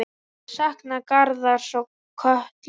Ég sakna Garðars og Köllu.